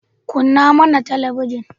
Kunna mana talabinin.